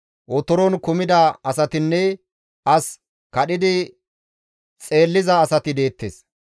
Otoron kumida asatinne as kadhidi xeelliza asati deettes.